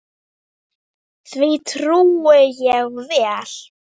Því trúi ég vel.